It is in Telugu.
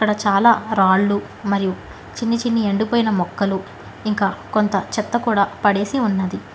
చాలా రాళ్లు మరియు చిన్నిచిన్ని ఎండిపోయిన మొక్కలు ఇంకా కొంత చెత్త కూడ పడేసి ఉన్నది.